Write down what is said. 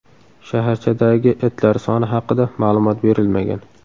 Shaharchadagi itlar soni haqida ma’lumot berilmagan.